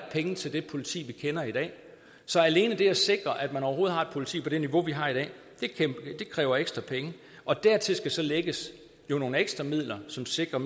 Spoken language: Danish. penge til det politi vi kender i dag så alene det at sikre at man overhovedet har et politi på det niveau vi har i dag kræver ekstra penge og dertil skal så lægges nogle ekstra midler som sikrer